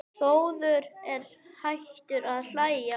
Þórður er hættur að hlæja.